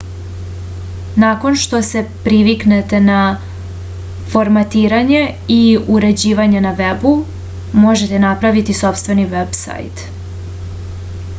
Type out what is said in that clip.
nakon što se priviknete na formatiranje i uređivanje na vebu možete napraviti sopstveni veb-sajt